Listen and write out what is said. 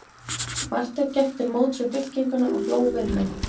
Marteinn gekk til móts við fylkinguna og hló við þeim.